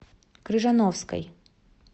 крыжановской